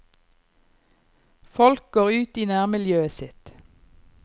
Folk går ut i nærmiljøet sitt.